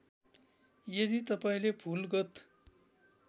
यदि तपाईँले भुलगत